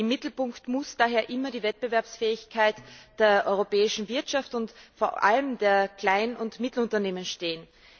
Im Mittelpunkt muss daher immer die Wettbewerbsfähigkeit der europäischen Wirtschaft und vor allem der Klein und Mittelunternehmen stehen.